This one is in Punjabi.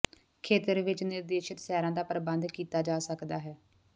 ਖੇਤਰ ਵਿਚ ਨਿਰਦੇਸ਼ਿਤ ਸੈਰਾਂ ਦਾ ਪ੍ਰਬੰਧ ਕੀਤਾ ਜਾ ਸਕਦਾ ਹੈ